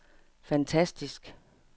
fantastisk